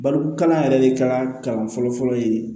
Barika yɛrɛ de kalan fɔlɔ fɔlɔ ye